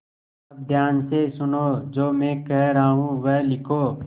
अब ध्यान से सुनो जो मैं कह रहा हूँ वह लिखो